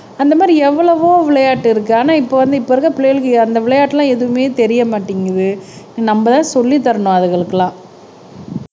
அந்த மாதிரி எவ்வளவோ விளையாட்டு இருக்கு ஆனா இப்ப வந்து இப்ப இருக்கிற பிள்ளைகளுக்கு அந்த விளையாட்டு எல்லாம் எதுவுமே தெரிய மாட்டேங்குது நம்மதான் சொல்லித் தரணும் அதுங்களுக்குலாம்